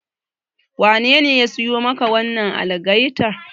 Wanene ya siyo maka wannan algaitar?